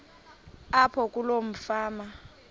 apho kuloo fama